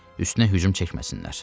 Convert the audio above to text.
Üstünə hücum çəkməsinlər.